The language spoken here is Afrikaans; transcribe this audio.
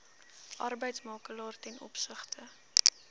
arbeidsmakelaar ten opsigte